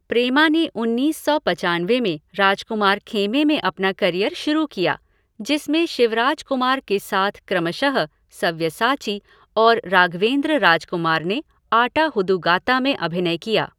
प्रेमा ने उन्नीस सौ पचानवे में राजकुमार खेमे में अपना करियर शुरू किया, जिसमें शिवराजकुमार के साथ क्रमशः 'सव्यसाची' और राघवेंद्र राजकुमार ने 'आटा हुदुगाता' में अभिनय किया।